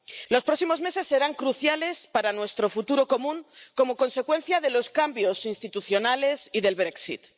Los próximos meses serán cruciales para nuestro futuro común, como consecuencia de los cambios institucionales y del Brexit